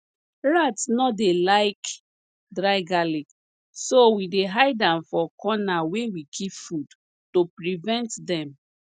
rats nor dey like dry garlic so we dey hide am for corner wey we keep food to prevent dem